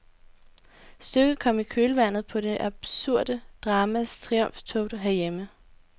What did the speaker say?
Stykket kom i kølvandet på det absurde dramas triumftog herhjemme.